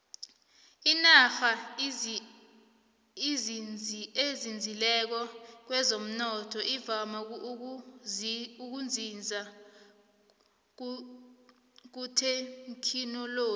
inarha ezinzileko kwezomnotho ivame ukuzinza kuthekhinoloji